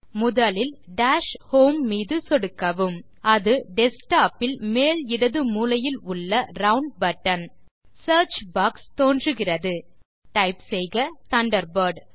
முதலில் dash home மீது சொடுக்கவும் அது டெஸ்க்டாப் இல் மேல் இடது மூலையில் உள்ள ரவுண்ட் பட்டன் சியர்ச் பாக்ஸ் தோன்றுகிறது டைப் செய்க தண்டர்பர்ட்